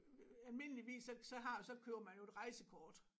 Almindeligvis så så har så køber man jo et rejsekort